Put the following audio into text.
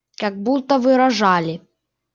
как будто выражали